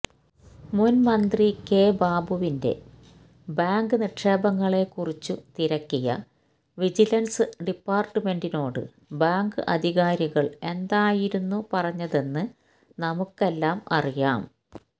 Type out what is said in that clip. മുൻ മന്ത്രി കെ ബാബുവിന്റെ ബാങ്ക് നിക്ഷേപങ്ങളെക്കുറിച്ചു തിരക്കിയ വിജിലൻസ് ഡിപ്പാർട്ടുമെന്റിനോട് ബാങ്ക് അധികാരികൾ എന്തായിരുന്നു പറഞ്ഞതെന്ന് നമുക്കെല്ലാം അറിയാം